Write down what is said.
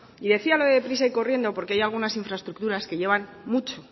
y decía lo de deprisa y corriendo porque hay algunas infraestructura que llevan mucho